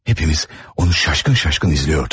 Hamımız onu təəccüblə izləyirdik.